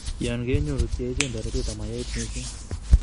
Yon ke nyoru tia icheng' toretet ama yait missing